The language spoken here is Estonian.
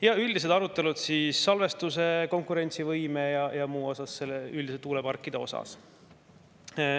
Ja oli arutelu salvestuse, konkurentsivõime ja muu üle, üldiselt tuuleparkide üle.